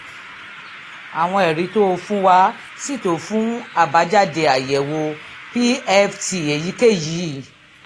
àwọn ẹ̀rí tó o fún wa sì tó fún àbájáde àyẹ̀wò pft èyíkéyìí